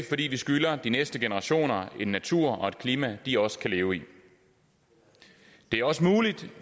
fordi vi skylder de næste generationer en natur og et klima de også kan leve i det er også muligt